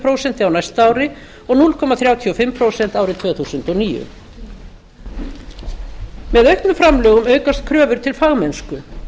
prósent á næsta ári og núll komma þrjátíu og fimm prósent árið tvö þúsund og níu með auknum framlögum aukast kröfur til fagmennsku